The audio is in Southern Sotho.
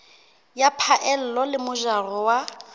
ya phaello le mojaro wa